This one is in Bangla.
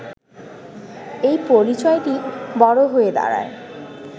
এই পরিচয়টি বড় হয়ে দাঁড়ায়